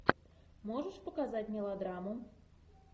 можешь показать мелодраму